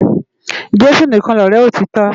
Jesu nikán lòrè òtitò